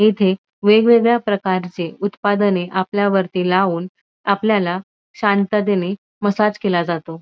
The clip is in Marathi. येथे वेगवेगळ्या प्रकारचे उत्पादने आपल्यावरती लावून आपल्याला शांततेने मसाज केला जातो.